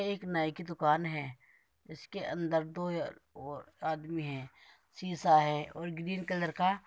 ये एक नाई की दुकान है इसके अन्दर आदमी है शीशा है और ग्रीन कलर का --